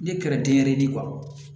Ne kɛra denyɛrɛni kɔrɔ